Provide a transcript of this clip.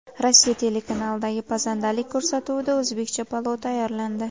Rossiya telekanalidagi pazandalik ko‘rsatuvida o‘zbekcha palov tayyorlandi.